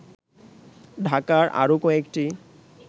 ঢাকার আরো কয়েকটি